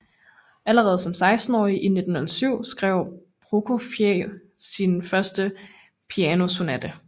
Allerede som sekstenårig i 1907 skrev Prokofjev sin første pianosonate